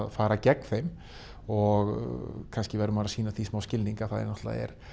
fara gegn þeim og kannski verður maður að sýna því smá skilning að það er náttúrulega